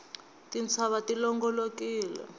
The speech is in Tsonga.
tintshava ti longolokile